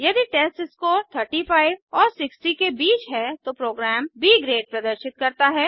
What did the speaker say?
यदि टेस्टस्कोर 35 और 60 के बीच है तो प्रोग्राम ब ग्रेड प्रदर्शित करता है